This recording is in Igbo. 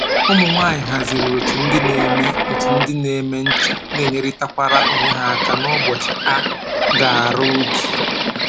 Ụmụ nwanyị haziri otu ndị na-eme otu ndị na-eme ncha na enyerịtakwara onwe ha aka n'ụbọchị a ga-arụ ubi